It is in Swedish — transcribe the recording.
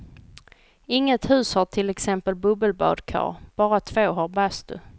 Inget hus har till exempel bubbelbadkar, bara två har bastu.